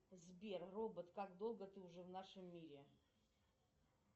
сбер робот как долго ты уже в нашем мире